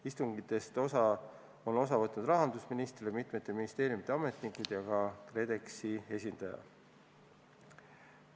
Istungitest on osa võtnud rahandusminister, mitme ministeeriumi ametnikud ja KredExi esindajad.